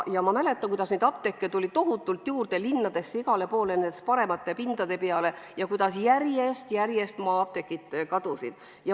Ma mäletan, kuidas siis tuli apteeke linnadesse tohutult juurde, igale poole paremate pindade peale, ja kuidas maa-apteegid järjest kadusid.